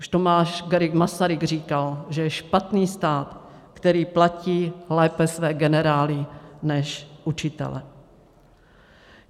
Už Tomáš Garrigue Masaryk říkal, že je špatný stát, který platí lépe své generály než učitele.